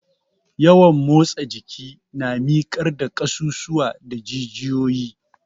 Yawan motsa jiki na mikar da ƙasusuwa da jijiyoyi.